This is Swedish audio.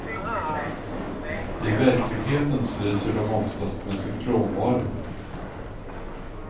I verklighetens lyser de oftast med sin frånvaro.